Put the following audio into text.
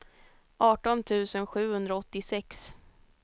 arton tusen sjuhundraåttiosex